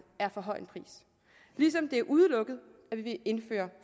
er for høj en pris ligesom det er udelukket at vi vil indføre